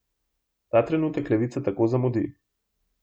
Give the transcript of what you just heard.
Ta trenutek levica tako zamudi.